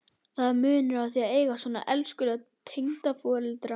Það er munur að eiga svona elskulega tengdaforeldra.